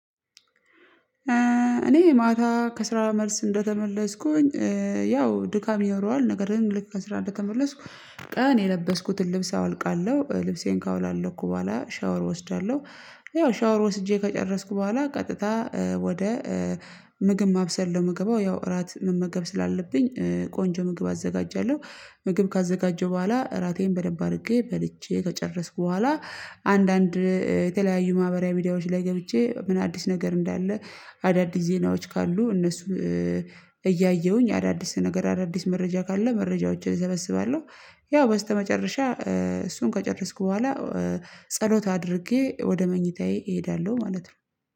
እኔ ማታ ከስራ መልስ እንደተመለስኩኝ ያው ድካም ይኖረዋል። ነገር ግን ልክ መስራት እንደተመለስኩ ቀን የለበስኩትን ልብስ አወልቃለሁ ልብሴን ካወላለኩ በኋላ ሻወር እወስዳለሁ። ያው ሻወር ወስጄ ከጨረስኩ በኋላ ቀጥታ ወደ ምግብ ማብሰል ምገባው ያው እራት መመገብ ስላለብኝ ቆንጆ ምግብ አዘጋጃለሁ። ምግብ ካዘጋጀው በኋላ እራቴን በደንብ አድርጌ በልቼ ከጨረስኩ በኋላ አንዳንድ የተለያዩ ማህበራዊ ሚዲያዎች ላይ ገብቼ ምን አዲስ ነገር እንዳለ። አዳዲስ ዜናዎች ካሉ እነሱ እያየሁኝ አዳዲስ ነገር አዳዲስ መረጃ ካለ መረጃዎችን እሰበስባለሁ። ያው በስተመጨረሻ እሱን ከጨረስኩ በኋላ ጸሎት አድርጌ ወደ መኝታዬ እሄዳለሁ። ማለት ነው